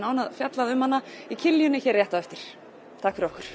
fjallað um hana í hér rétt á eftir takk fyrir okkur